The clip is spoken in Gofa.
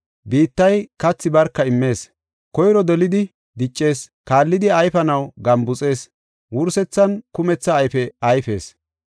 Biittay kathi barka immees. Koyro dolidi diccees, kaallidi ayfanaw gambuxees, wursethan kumetha ayfe ayfees.